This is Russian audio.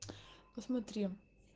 посмотри